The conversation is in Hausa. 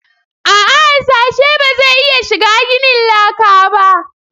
A'a harsashe ba zai iya shiga ginin laka ba